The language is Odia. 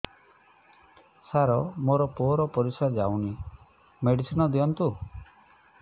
ସାର ମୋର ପୁଅର ପରିସ୍ରା ଯାଉନି ମେଡିସିନ ଦିଅନ୍ତୁ